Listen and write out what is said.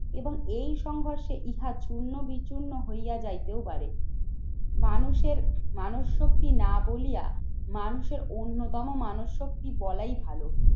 এবং এই সংঘর্ষে ইহার চূর্ণ-বিচূর্ণ হইয়া যাইতেও পারে। মানুষের মানুষ শক্তি না বলিয়া মানুষের অন্যতম মানস শক্তি বলাই ভালো